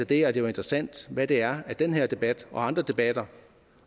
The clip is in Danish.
det er det jo interessant hvad det er den her debat og andre debatter